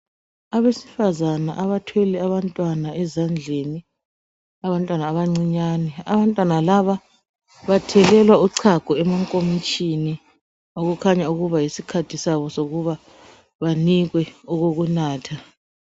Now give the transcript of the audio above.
Abesifazana abathwele abantwana ezandleni abantwana abancinyane ,Abantwana laba bathelelwa uchago emankomitshini okukhanya ukuba yisikhathi sabo sokuba banikwe okokunatha.